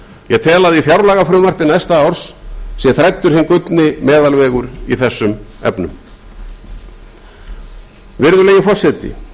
ég tel að í fjárlagafrumvarpi næsta árs sé þræddur hinn gullni meðalvegur í þessum efnum virðulegi forseti